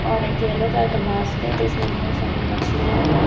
और एक yellow colour का बास्केट हैं इसमें बहोत सारी मछलियां हैं।